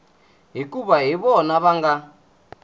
hikuva hi vona va nga